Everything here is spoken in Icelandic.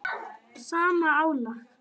sama álag?